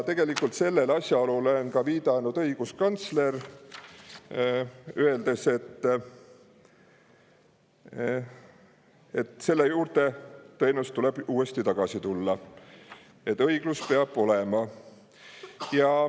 Tegelikult on sellele asjaolule viidanud ka õiguskantsler, öeldes, et selle juurde tõenäoliselt tuleb tagasi tulla, et õiglus peab olema.